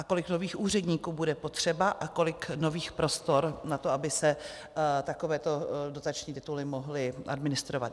A kolik nových úředníků bude potřeba a kolik nových prostor na to, aby se takovéto dotační tituly mohly administrovat?